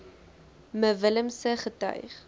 me willemse getuig